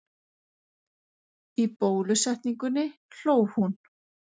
Í bólusetningunni hló hún.